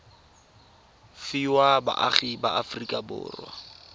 fiwa baagi ba aforika borwa